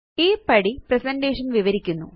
ഈ പടി പ്രസന്റേഷൻ വിവരിക്കുന്നു